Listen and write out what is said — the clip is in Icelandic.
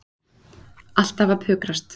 Alltaf að pukrast.